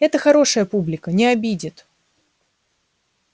это хорошая публика не обидит